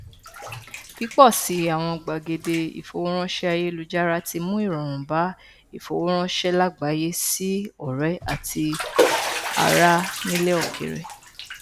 pípọ sí i àwọn gbàgede ìfowóránṣẹ ayélujára tí mú ìrọrùn bá ìfowóránṣẹ lágbàáyé sí ọrẹ àti ará nílẹ òkèrè